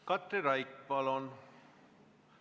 Katri Raik, palun!